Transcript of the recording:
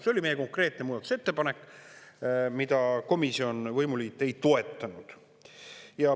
See oli meie konkreetne muudatusettepanek, mida komisjon, võimuliit ei toetanud.